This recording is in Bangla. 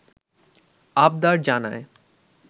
আবদার জানায়